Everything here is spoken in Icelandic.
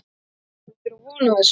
Áttirðu von á þessu?